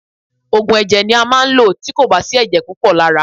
Òògùn ẹ̀jẹ̀ ni a máa ń lò tí kò bá sí ẹ̀jẹ̀ púpọ̀ lára.